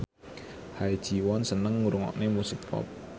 Ha Ji Won seneng ngrungokne musik pop